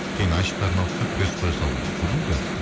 кейін айшықтарын алып тастап крест қоя салған көрдіңіз бе